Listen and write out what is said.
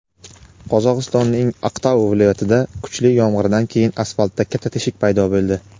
Qozog‘istonning Aqtau viloyatida kuchli yomg‘irdan keyin asfaltda katta teshik paydo bo‘ldi.